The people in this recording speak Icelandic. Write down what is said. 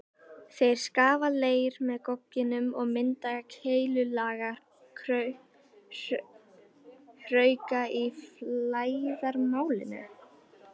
Þeir skafa leir með gogginum og mynda keilulaga hrauka í flæðarmálinu.